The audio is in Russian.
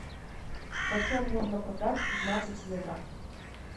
почем можно продать пятнадцать евро